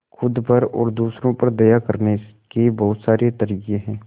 खुद पर और दूसरों पर दया करने के बहुत सारे तरीके हैं